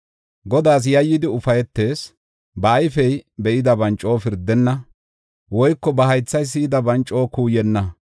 Godaas yayyidi ufaytees; ba ayfey be7idaban coo pirdenna; woyko ba haythay si7idaban coo kuuyenna.